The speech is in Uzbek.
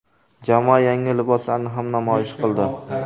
Jamoa yangi liboslarni ham namoyish qildi .